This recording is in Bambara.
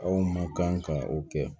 Aw ma kan ka o kɛ